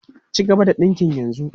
Cigaba da dinkin yanzu!